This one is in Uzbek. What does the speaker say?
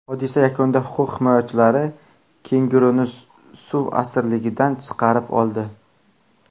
Hodisa yakunida huquq himoyachilari kenguruni suv asirligidan chiqarib oldi.